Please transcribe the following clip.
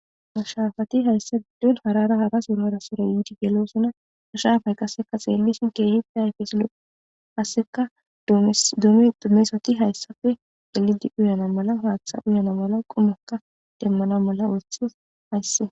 mashaafati hayssa biddon harara hara suro harasira yiidi gelosona hashafay qasseka xeellisin keehippe hayfesilo hasseka doome dommesati hayssafe dalidi uyana mala haaththa uyana mala qumaka demmana mala oothes haysse